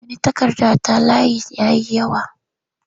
Ba ni takarda ta layi ya yi yawa!